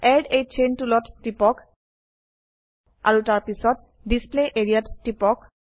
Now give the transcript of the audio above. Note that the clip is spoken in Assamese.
এড a চেইন টুলত টিপক আৰু তাৰপিছত ডিছপ্লে এৰিয়া ত টিপক